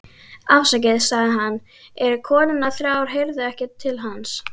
Afsakið, sagði hann, en konurnar þrjár heyrðu ekki til hans.